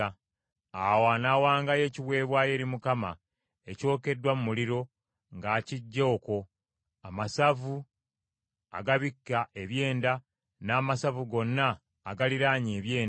Awo anaawangayo ekiweebwayo eri Mukama ekyokeddwa mu muliro ng’akiggya okwo: amasavu agabikka ebyenda, n’amasavu gonna agaliraanye ebyenda,